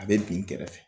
A bɛ bin kɛrɛfɛ